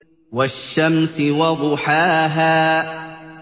وَالشَّمْسِ وَضُحَاهَا